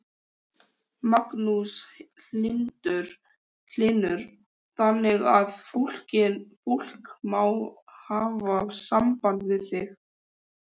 Magnús Hlynur: Þannig að fólk má hafa samband við þig?